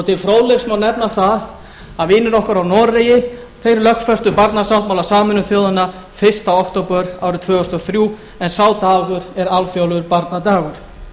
til fróðleiks má nefna það að vinir okkar frá noregi lögfestu barnasáttmála sameinuðu þjóðanna fyrsta október árið tvö þúsund og þrjú en sá dagur er alþjóðlegur barnadagur